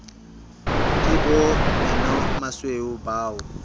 ke bo menomasweu ba o